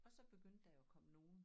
Og så begyndte der jo at komme nogen